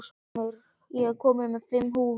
Finnur, ég kom með fimm húfur!